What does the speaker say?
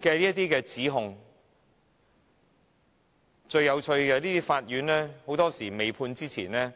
據的指控，無理把他們非法拘禁。